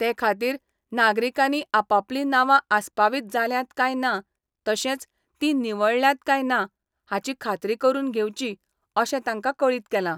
ते खातीर नागरीकांनी आपापली नावा आसपावीत जाल्यांत काय ना तशेंच तीं निवळायल्यांत काय ना हाची खात्री करून घेवची अशें तांकां कळीत केलां.